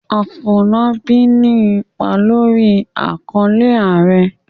Afolábí ní ipa lórí àkọlé"Ààrẹ".